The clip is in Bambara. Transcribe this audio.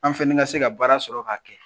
An fɛnɛ ka se ka baara sɔrɔ k'a kɛ.